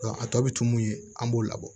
a tɔ bɛ tun ye an b'o labɔ